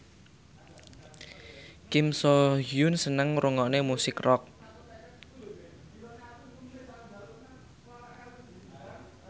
Kim So Hyun seneng ngrungokne musik rock